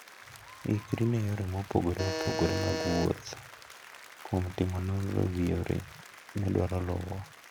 Ikri ne yore mopogore opogore mag wuoth kuom timo nonro e wi yo midwaro luwo.